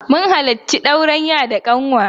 Mun halarci auren ya da ƙanwa.